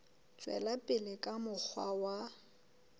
tswela pele ka mokgwa wa